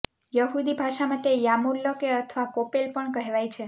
યહુદી ભાષામાં તે યાર્મુલકે અથવા કોપેલ પણ કહેવાય છે